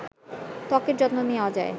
ত্বকের যত্ন নেওয়া যায়